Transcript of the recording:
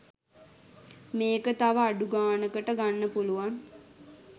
මේක තව අඩු ගානකට ගන්න පුලුවන්.